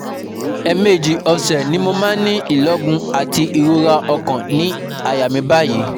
Ẹ̀ẹ̀mejì ọ̀sẹ̀ ni mo máa ń ní ìlọgun àti ìrora ọkàn ní àyà mi báyìí